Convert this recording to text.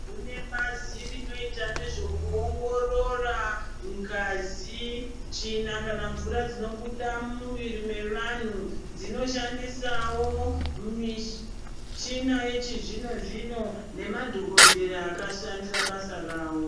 Kune bazi rinoita nezvekuongorora ngazi , tsvina kana mvura dzinobuda mumuviri mevanhu dzinoshandisawo michina yechizvino zvino nemadhokodhera akashandira basa rawo .